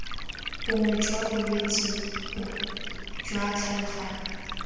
bongwe jwa bolwetse jwa tlhaloganyo